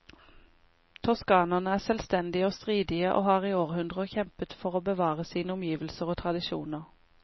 Toskanerne er selvstendige og stridige, og har i århundrer kjempet for å bevare sine omgivelser og tradisjoner.